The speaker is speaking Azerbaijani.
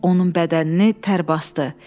Onun bədənini tər basdı.